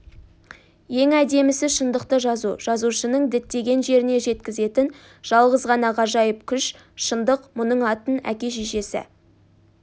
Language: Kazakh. ең әдемісі шындықты жазу жазушыны діттеген жеріне жеткізетін жалғыз ғана ғажайып күш шындық мұның атын әке-шешесі